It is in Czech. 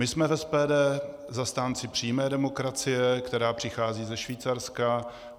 My jsme v SPD zastánci přímé demokracie, která přichází ze Švýcarska.